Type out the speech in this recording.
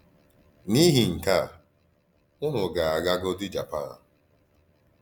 N’íhì nkè à, únù gà-àgàgòdì Jàpàn.